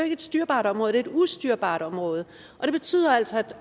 et styrbart område det er et ustyrbart område og det betyder altså at